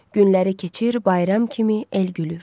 Günləri keçir bayram kimi el gülür.